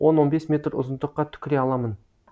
он он бес метр ұзындыққа түкіре аламын